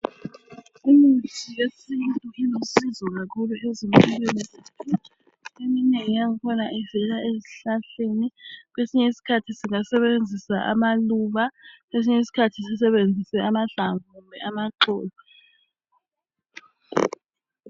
Imithi yesintu ilusizo kakhulu ezimpilweni zabantu .Eminengi yankhona ivela ezihlahleni Kwesinye isikhathi singasebenzisa amaluba Kwesinye isikhathi sisebenzise amahlamvu kumbe amaxolo